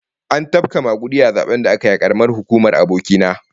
An tafka magudi a zaben da aka yi a karamar hukumar aboki na